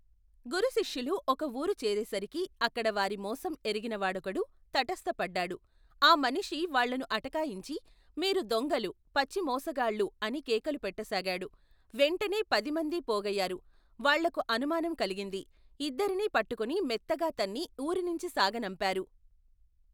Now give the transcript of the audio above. గురుశిష్యులు ఒక ఊరు చేరేసరికి అక్కడ వారిమోసం ఎరిగినవాడొకడు తటస్థపడ్డాడు ఆ మనిషి వాళ్లను అటకాయించి మీరు దొంగలు పచ్చిమోసగాళ్లు అని కేకలు పెట్టసాగాడు వెంటనే పదిమందీ పోగయ్యారు వాళ్లకు అనుమానం కలిగింది ఇద్దరినీ పట్టుకుని మెత్తగా తన్ని ఊరినించి సాగనంపారు.